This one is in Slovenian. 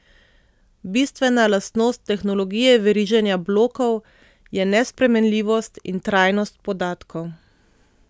Bistvena lastnost tehnologije veriženja blokov je nespremenljivost in trajnost podatkov.